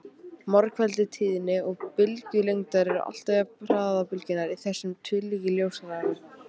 Margfeldi tíðni og bylgjulengdar er alltaf jafnt hraða bylgjunnar, í þessu tilviki ljóshraðanum.